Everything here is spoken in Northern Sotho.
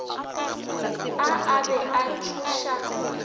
a a be a tšhoša